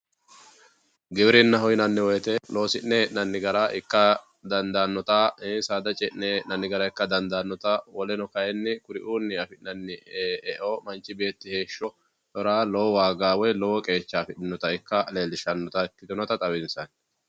Giwirinaho yinanni woyte loosi'ne hee'nanni gara ikka dandaanotta saada ce'ne hee'nanni gara ikka dandaanotta woleno kayinni kuriunni affinani eo manchi beetti heeshshora lowo waaga woyi qeecha aanotta leelisha ikka xawisanotta.